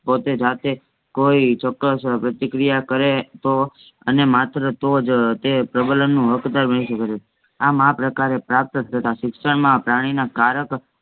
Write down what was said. પોતે જાતે કોઈ ચોક્કસ પરતિક્રિયા કરે તો અને માત્ર તોજ તે પ્રબલન નું હકદાર બની સકે છે. આ માં પ્રકાર એ પ્રાપ્ત થતાં સિક્ષણ માં પ્રાણી ના કારક